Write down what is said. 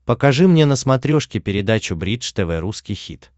покажи мне на смотрешке передачу бридж тв русский хит